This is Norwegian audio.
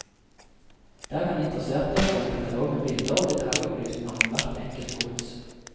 Der kan interesserte få en katalog med bilder og detaljopplysninger om hvert enkelt gods.